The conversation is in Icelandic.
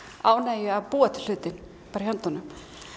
ánægju að búa til hlutinn bara í höndunum